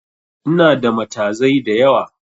Inada matazai da yawa